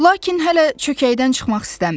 Lakin hələ çökəkdən çıxmaq istəmirdi.